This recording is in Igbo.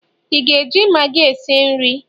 ị ga-eji maggi esi nri?